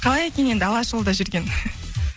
қалай екен енді алашұлыда жүрген